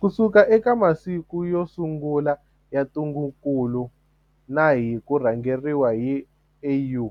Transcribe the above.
Kusuka eka masiku yo sungula ya ntungukulu na hi ku rhangeriwa hi AU,